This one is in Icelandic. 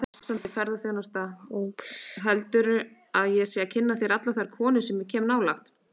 Heldurðu að ég sé að kynna fyrir þér allar þær konur sem ég kem nálægt?